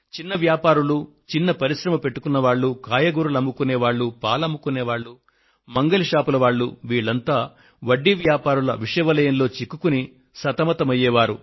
చిన్న వ్యాపారులు చిన్న పరిశ్రమ పెట్టుకున్నవాళ్లు కాయగూరలు అమ్ముకునే వారు పాలు అమ్ముకొనే వారు మంగలి దుకాణాల వారు వీరంతా వడ్డీ వ్యాపారుల విష వలయంలో చిక్కుకొని సతమతం అయ్యే వారు